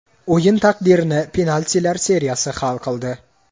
O‘yin taqdirini penaltilar seriyasi hal qildi.